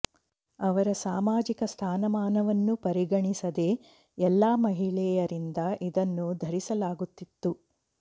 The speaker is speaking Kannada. ಅವರ ಸಾಮಾಜಿಕ ಸ್ಥಾನಮಾನವನ್ನು ಪರಿಗಣಿಸದೆ ಎಲ್ಲಾ ಮಹಿಳೆಯರಿಂದ ಇದನ್ನು ಧರಿಸಲಾಗುತ್ತಿತ್ತು